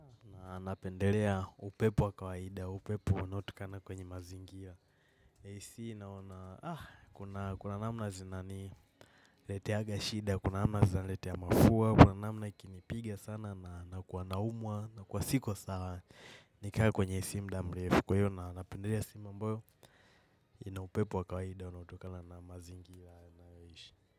Napendelea upepo wa kawaida, upepo unaotokana kwenye mazingira. AC naona, kuna namna zinani leteaga shida, kuna namna zinani letea mafua, kuna namna ikinipiga sana nakua naumwa, nakua siko sawa nikae kwenye AC muda mrefu. Kwa hiyo napendelea sehemu ambayo, ina upepo wakawaida unaotokana na mazingira ninayoishi.